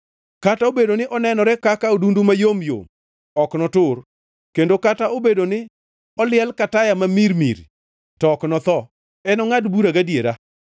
Kata obedo ni onenore kaka odundu mayom yom ok notur kendo kata obedo ni oliel ka taya ma mirimiri to ok notho. Enongʼad bura gadiera;